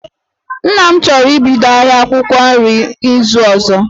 Nna m chọrọ ibido ahia akwụkwọ nri n'izu ozo